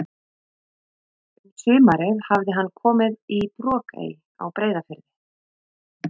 Um sumarið hafði hann komið í Brokey á Breiðafirði.